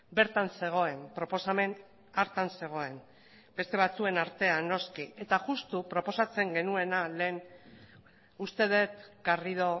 bertan zegoen proposamen hartan zegoen beste batzuen artean noski eta juxtu proposatzen genuena lehen uste dut garrido